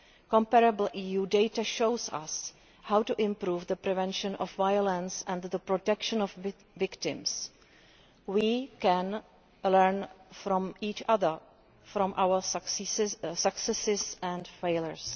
Comparable EU data shows us how to improve the prevention of violence and the protection of victims. We can learn from each other, from our successes and failures.